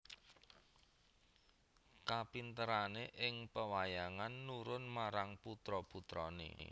Kapinterané ing pewayangan nurun marang putra putrané